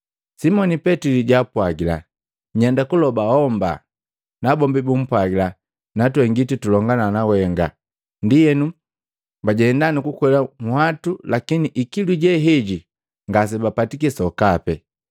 Simoni Petili jaapwagila, “Nyenda kulobo homba.” Nabombi bumpwagila, Natwe ngiti tulongana nawenga, ndienu bajenda nukukwela nhwatu, lakini ikilu je heji ngasebapatiki sokape.